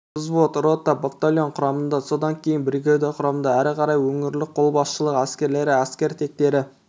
взвод рота батальон құрамында содан кейін бригада құрамында әрі қарай өңірлік қолбасшылық әскерлері әскер тектері